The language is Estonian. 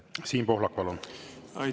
Siim Pohlak, palun!